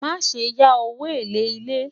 má sé yá owó élè ilè